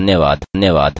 हमसे जुड़ने के लिए धन्यवाद